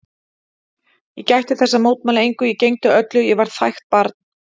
Ég gætti þess að mótmæla engu, ég gegndi öllu, ég var þægt barn.